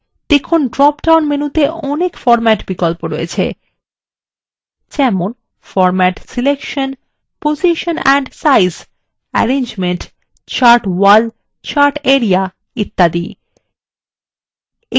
দেখুন drop down মেনুতে অনেক বিন্যাস বিকল্প রয়েছে যেমন format selection position and size arrangement chart wall chart area ইত্যাদি